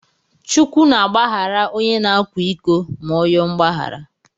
Chukwu na agbaghara ọnye na akwa iko ma ọ yoo mgbaghara.